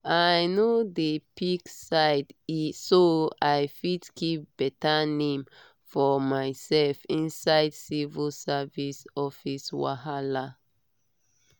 i no dey pick side so i fit keep better name for myself inside civil service office wahala.